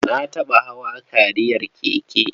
Na taɓa hawa kariyar keke.